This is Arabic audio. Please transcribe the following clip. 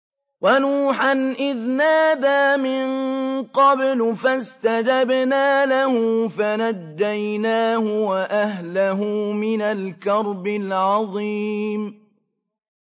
وَنُوحًا إِذْ نَادَىٰ مِن قَبْلُ فَاسْتَجَبْنَا لَهُ فَنَجَّيْنَاهُ وَأَهْلَهُ مِنَ الْكَرْبِ الْعَظِيمِ